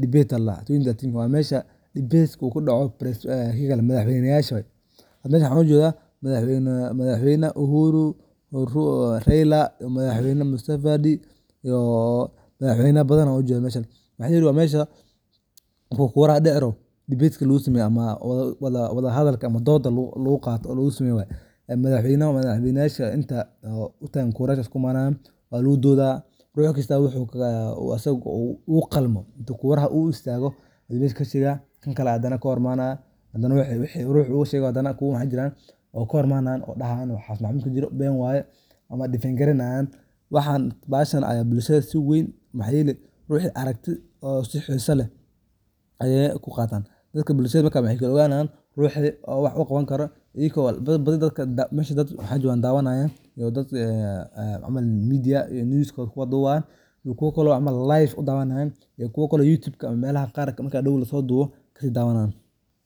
debate 2013 wamesha debate oo kadacoh madaxweynaysah, meshan waxa ugajeedah madaxweyna uhuru ,raila madaxweynaha mdavadi iyo madaxweyna bathan Aya u jeedah waxayeri mesha marku kuraha deci rabah debate ka lagu sameeyoh wadahalka amah dooda lagu Qatoh lagu sameeyoh waye madaxweyna inta utgan kurayasha isku imanayan walagu dootha ruxkasto waxu asagau qalmo oo istago Aya mesha kasheeygayan kangale hadana ka hor imanayan waxu ruux u sheekho hadana kahorimanaya oo dhahayan waxasi waxbo kamajiro been waye amah defend kareynayan waxan bahashan Aya sheer weeyn ruuxa aragtisa oo si xeesa leeh Aya ku Qathan dadka bulshada marka waxakala oganayan ruxxi oo wax u Qawan karoh iyako dad bathi mesha waxa jokah ayako dawayanayan oo dadaka MediaNews waxa duboh iyo kuwa camal live udawanayan iyo kuwa Kali YouTube ka marka hadaw lasodobh kasidawanayan.